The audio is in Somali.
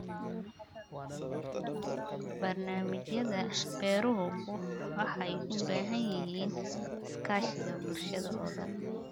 Barnaamijyada beeruhu waxay u baahan yihiin iskaashiga bulshada oo dhan.